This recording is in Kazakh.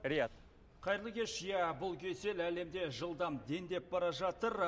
риат қайырлы кеш иә бұл кесел әлемде жылдам дендеп бара жатыр